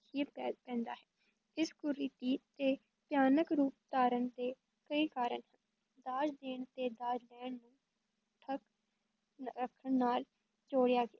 ਹੀ ਪੈ ਪੈਂਦਾ ਹੈ, ਇਸ ਕੁਰੀਤੀ ਦੇ ਭਿਆਨਕ ਰੂਪ ਧਾਰਨ ਦੇ ਕਈ ਕਾਰਣ ਹਨ, ਦਾਜ ਦੇਣ ਤੇ ਦਾਜ ਲੈਣ ਨੂੰ ਨ ਰੱਖਣ ਨਾਲ